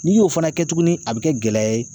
N'i y'o fana kɛ tuguni a bɛ kɛ gɛlɛya ye.